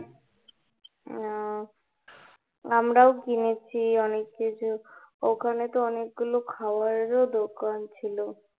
আহ আমরা ও কিনেছি অনেক কিছু, ওখানে তো অনেকগুলো খাবারের ও দোকান ছিলো